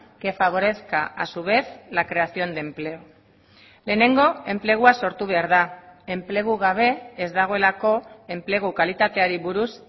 que favorezca a su vez la creación de empleo lehenengo enplegua sortu behar da enplegu gabe ez dagoelako enplegu kalitateari buruz